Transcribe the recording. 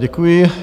Děkuji.